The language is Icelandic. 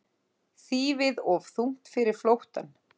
Þýfið of þungt fyrir flóttann